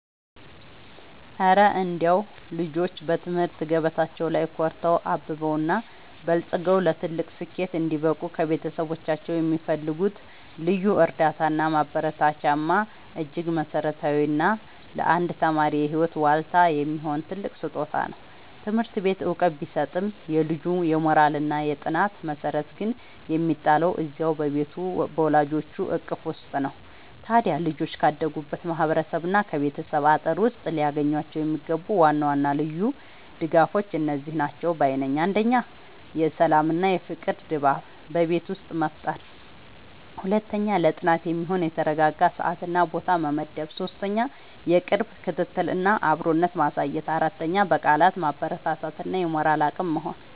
እረ እንደው ልጆች በትምህርት ገበታቸው ላይ ኮርተው፣ አብበውና በልጽገው ለትልቅ ስኬት እንዲበቁ ከቤተሰቦቻቸው የሚፈልጉት ልዩ እርዳታና ማበረታቻማ እጅግ መሠረታዊና ለአንድ ተማሪ የህይወት ዋልታ የሚሆን ትልቅ ስጦታ ነው! ትምህርት ቤት ዕውቀት ቢሰጥም፣ የልጁ የሞራልና የጥናት መሠረት ግን የሚጣለው እዚያው በቤቱ በወላጆቹ እቅፍ ውስጥ ነው። ታዲያ ልጆች ካደጉበት ማህበረሰብና ከቤተሰብ አጥር ውስጥ ሊያገኟቸው የሚገቡ ዋና ዋና ልዩ ድጋፎች እነዚህ ናቸው ባይ ነኝ፦ 1. የሰላምና የፍቅር ድባብ በቤት ውስጥ መፍጠር 2. ለጥናት የሚሆን የተረጋጋ ሰዓትና ቦታ መመደብ 3. የቅርብ ክትትልና አብሮነት ማሳየት 4. በቃላት ማበረታታት እና የሞራል አቅም መሆን